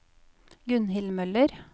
Gunnhild Møller